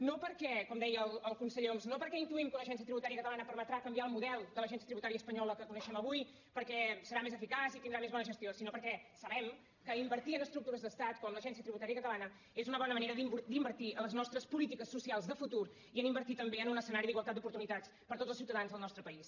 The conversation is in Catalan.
no perquè com deia el conseller homs intuïm que una agència tributària catalana permetrà canviar el model de l’agència tributària espanyola que conei·xem avui perquè serà més eficaç i tindrà més bona gestió sinó perquè sabem que invertir en estructures d’estat com l’agència tributària catalana és una bo·na manera d’invertir en les nostres polítiques socials de futur i d’invertir també en un escenari d’igualtat d’oportunitats per a tots els ciutadans del nostre país